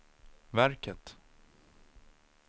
verket